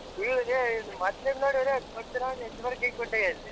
ಇಲ್ಲಲ್ಲೇ ಇನ್ ಮೊದ್ಲಿನ್ಡ್ ನೋಡಿದ್ರೆ